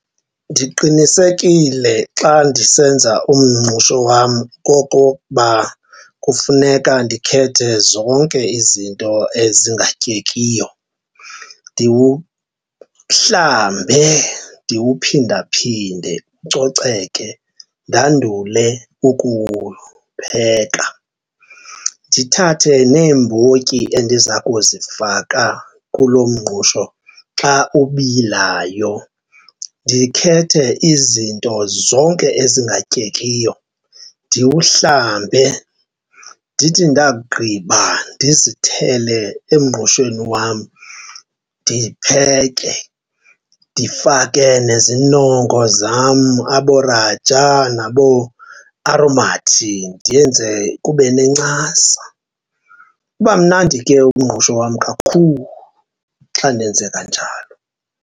Ndiqinisekile xa ndisenza umngqusho wam okokuba kufuneka ndikhethe zonke izinto ezingatyekiyo ndiwuhlambe ndiwuphindaphinde ucoceke, ndandule ukuwupheka. Ndithathe neembotyi endiza kuzifaka kulo mngqusho xa ubilayo, ndikhethe izinto zonke ezingatyekiyo ndiwuhlambe. Ndithi ndakugqiba ndizithele emngqushweni wam ndipheke, ndifake nezinongo zam abooRajah nabooAromat ndiyenze kube nencasa. Uba mnandi ke umngqusho wam kakhulu xa ndenze kanjalo.